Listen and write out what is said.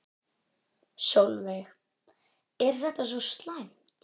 Sólveig: Er þetta svo slæmt?